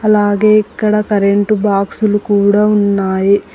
అలాగే ఇక్కడ కరెంటు బాక్సులు కూడా ఉన్నాయి.